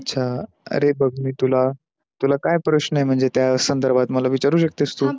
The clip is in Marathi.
अच्छा, अरे बघ मी तुला, तुला काय प्रश्न आहे महणजे त्या संधरभात मला विचारू शकतेस तू?